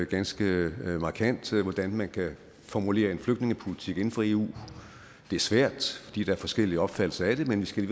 ganske markant hvordan man kan formulere en flygtningepolitik inden for eu det er svært fordi der er forskellige opfattelser af det men vi skal